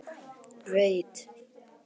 Veit að sómasamlegt fólk stelur ekki.